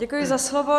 Děkuji za slovo.